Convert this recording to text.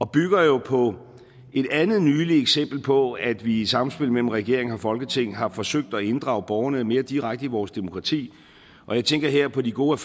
bygger jo på et andet nyligt eksempel på at vi i et samspil mellem regering og folketing har forsøgt at inddrage borgerne mere direkte i vores demokrati jeg tænker her på de gode